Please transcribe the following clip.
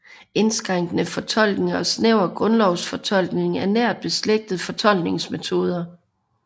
Indskrænkende fortolkning og snæver grundlovsfortolkning er nært beslægtede fortolkningsmetoder